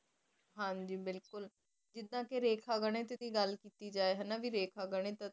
ਹਾਂਜੀ ਬਿਲਕੁਲ ਜਿਦਾਂ ਕੇ ਰੇਖਾ ਗਣਿਤ ਦੀ ਗਲ ਕੀਤੀ ਜੇ ਹਾਨਾ ਭੀ ਰੇਖਾ ਗਣਿਤ ਟੀ